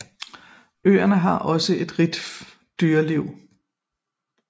Øerne har ògså et rigt dyreliv